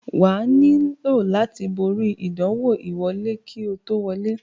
Wà á nílò láti borí ìdánwò ìwọlé kí o tó wọlé.